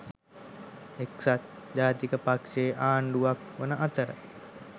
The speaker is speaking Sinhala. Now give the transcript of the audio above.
එක්සත් ජාතික පක්ෂ ආණ්ඩුවක් වන අතර